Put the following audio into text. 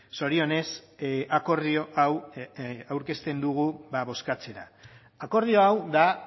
zorionez akordio hau aurkezten dugu bozkatzera akordio hau da